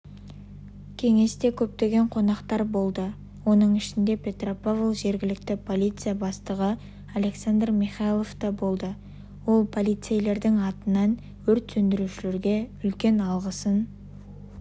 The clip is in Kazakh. кеңесте көптеген қонақтар болды оның ішінде петропавл жергілікті полиция бастығы александр михайлов та болды ол полицейлердің атынан өрт сөндірушілерге үлкен алғысын